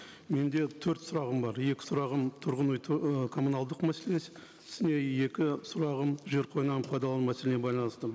менде төрт сұрағым бар екі сұрағым тұрғын үй і коммуналдық мәселесі и екі сұрағым жер қойнауын пайдалану мәселеге байланысты